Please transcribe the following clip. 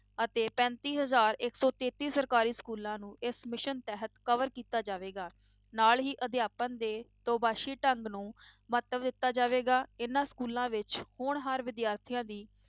ਅਤੇ ਪੈਂਤੀ ਹਜ਼ਾਰ ਇੱਕ ਸੌ ਤੇਤੀ ਸਰਕਾਰੀ schools ਨੂੰ ਇਸ mission ਤਹਿਤ cover ਕੀਤਾ ਜਾਵੇਗਾ, ਨਾਲ ਹੀ ਅਧਿਆਪਨ ਦੇ ਦੋ ਪਾਸੀ ਢੰਗ ਨੂੰ ਮਹੱਤਵ ਦਿੱਤਾ ਜਾਵੇਗਾ, ਇਹਨਾਂ schools ਵਿੱਚ ਹੋਣਹਾਰ ਵਿਦਿਆਰਥੀਆਂ ਦੀ